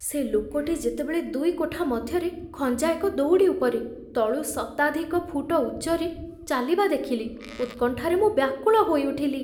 ସେ ଲୋକଟି ଯେତେବେଳେ ଦୁଇ କୋଠା ମଧ୍ୟରେ ଖଞ୍ଜା ଏକ ଦଉଡ଼ି ଉପରେ, ତଳୁ ଶତାଧିକ ଫୁଟ ଉଚ୍ଚରେ, ଚାଲିବା ଦେଖିଲି, ଉତ୍କଣ୍ଠାରେ ମୁଁ ବ୍ୟାକୁଳ ହୋଇଉଠିଲି।